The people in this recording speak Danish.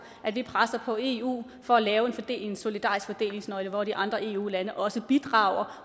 at vi presser på eu for at lave en solidarisk fordelingsnøgle hvor de andre eu lande også bidrager